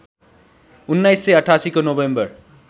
१९८८ को नोभेम्बर